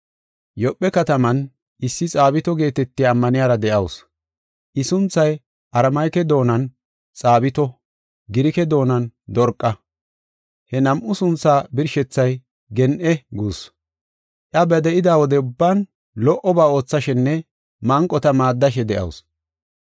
Yoophe kataman issi Xaabito geetetiya ammaniyara de7awusu. I sunthay Aramike doonan, “Xaabito”; Girike doonan, “Dorqa”; he nam7u suntha birshethay “gen7e” guussu. Iya ba de7ida wode ubban lo77oba oothashenne manqota maaddashe de7asu.